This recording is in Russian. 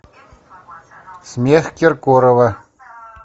смех киркорова